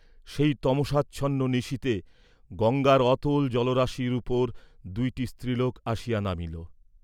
সেই তমসাচ্ছন্ন নিশীথে গঙ্গার অতল জলরাশির উপর দুইটি স্ত্রীলোক আসিয়া নামিল।